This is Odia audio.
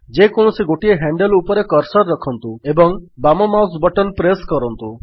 ଯେକୌଣସି ଗୋଟିଏ ହ୍ୟାଣ୍ଡଲ୍ ଉପରେ କର୍ସର୍ ରଖନ୍ତୁ ଏବଂ ବାମ ମାଉସ୍ ବଟନ୍ ପ୍ରେସ୍ କରନ୍ତୁ